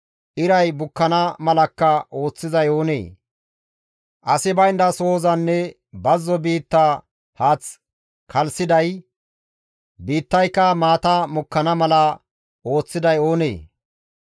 iray bukkana malakka ooththizay oonee? Asi baynda sohozanne bazzo biitta haath kalssiday biittayka maata mokkana mala ooththiday oonee?